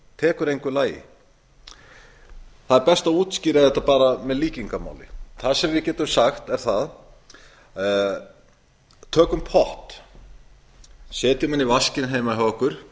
tali það er best að útskýra þetta bara með líkingamáli það sem við getum sagt er tökum pott setjum hann í vaskinn heima